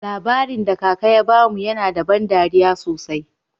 Labarin da kaka ya bamu yana da ban dariya sosai.